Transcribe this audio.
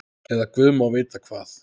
Eða guð má vita hvað.